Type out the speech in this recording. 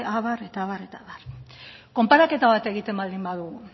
abar eta abar eta abar konparaketa bat egiten baldin badugu